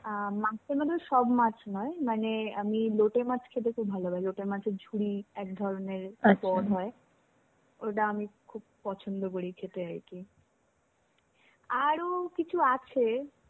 আ মাছের মধ্যে সব মাছ নয় মানে আমি লোটে মাছ খেতে খুব ভালোবাসি. লোটে মাছের ঝুড়ি একধরনের পদ হয়. ওটা আমি খুব পছন্দ করি খেতে. আরও কিছু আছে.